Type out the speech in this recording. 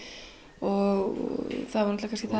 og það var náttúrulega það